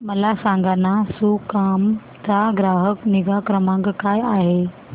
मला सांगाना सुकाम चा ग्राहक निगा क्रमांक काय आहे